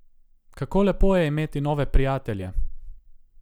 Kako lepo je imeti nove prijatelje!